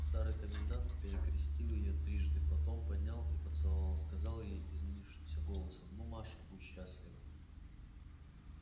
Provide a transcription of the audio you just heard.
старый комендант перекрестил её трижды потом поднял и поцеловал сказал ей изменившимся голосом ну маша будь счастлива